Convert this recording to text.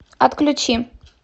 отключи